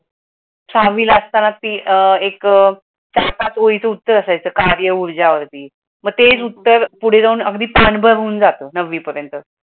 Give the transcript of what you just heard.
सहावीला असताना अह एक सहा-सात ओळीचा उत्तर असायचा कार्य ऊर्जा वरती, मग अगदी पुढे जाऊन तेच उत्तर अगदी ताणभर होऊन जात नवी पर्यंत.